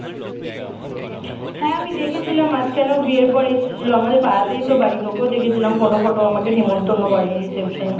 হ্যাঁ আমি দেখেছিলাম মাঝখানে ও বিয়ের পরে এসেছিল আমাদের পাড়াতেই তো বাড়ি তোকেও দেখছিলাম photo photo আমাকে নেমন্তন্ন করেনি reception এ